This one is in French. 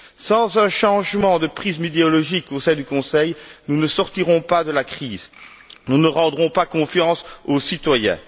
Sans un changement de prisme idéologique au sein du Conseil, nous ne sortirons pas de la crise, nous ne rendrons pas confiance aux citoyens.